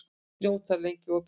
Snót, hvað er lengi opið í Byko?